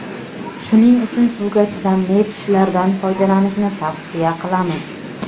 Shuning uchun suvga chidamli tushlardan foydalanishni tavsiya qilamiz.